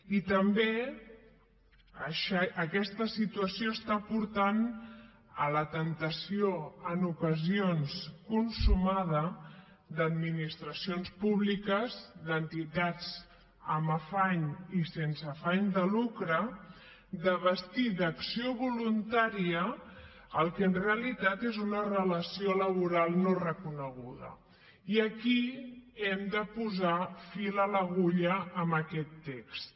i també aquesta situació està portant a la temptació en ocasions consumada d’administracions públiques d’entitats amb afany i sense afany de lucre de vestir d’acció voluntària el que en realitat és una relació laboral no reconeguda i aquí hem de posar fil a l’agulla amb aquest text